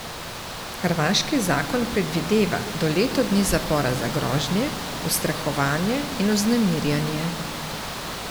Hrvaški zakon predvideva do leto dni zapora za grožnje, ustrahovanje in vznemirjanje.